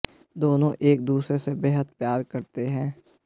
दोनों एक दूसरे से बेहद प्यार करते हैं